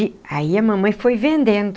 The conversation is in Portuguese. E aí a mamãe foi vendendo.